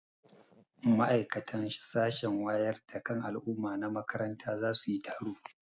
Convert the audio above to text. Ma'aikatan sashen wayar da kan al'umma na makaranta za su yi taro.